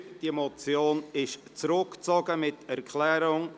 Diese Motion ist zurückgezogen, mit einer Erklärung.